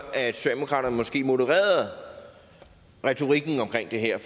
at socialdemokraterne måske modererede retorikken omkring det her